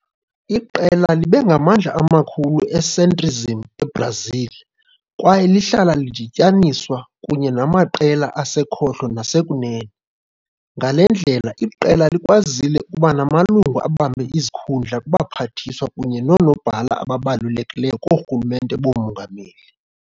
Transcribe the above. Iqela libe ngamandla amakhulu e-centrism eBrazil kwaye lihlala lidityaniswa kunye namaqela asekhohlo nasekunene. Ngale ndlela, iqela likwazile ukuba namalungu abambe izikhundla kubaphathiswa kunye noonobhala ababalulekileyo koorhulumente boomongameli.